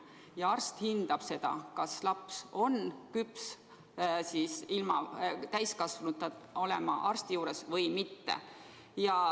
Ja arst hindab seda, kas laps on küps ilma täiskasvanuta arsti juures olema või mitte.